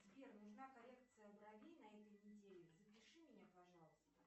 сбер нужна коррекция бровей на этой неделе запиши меня пожалуйста